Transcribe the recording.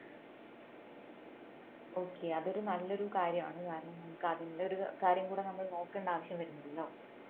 okay അതൊരു നല്ലൊരു കാര്യമാണ് കാരണം നമുക്ക് അതിന്റെ ഒരു കാര്യം കൂടെ നമ്മൾ നോക്കേണ്ട ആവശ്യം വരുന്നില്ലല്ലോ